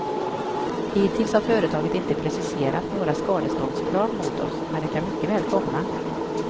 Hittills har företaget inte preciserat några skadeståndskrav mot oss, men det kan mycket väl komma.